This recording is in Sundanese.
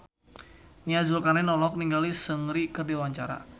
Nia Zulkarnaen olohok ningali Seungri keur diwawancara